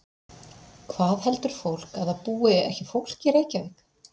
Hvað heldur fólk að það búi ekki fólk í Reykjavík?